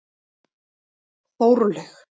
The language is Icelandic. Þórlaug